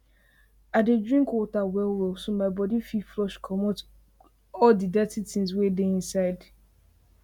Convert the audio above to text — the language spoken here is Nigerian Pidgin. i dey drink water well well so my body fit flush commot all the the dirty tins wey dey inside